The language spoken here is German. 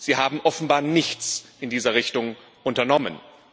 Sie haben offenbar nichts in dieser Richtung unternommen.